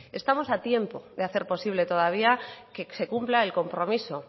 estamos a tiempo de hacer posible todavía que se cumpla el compromiso